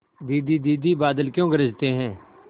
दीदी दीदी बादल क्यों गरजते हैं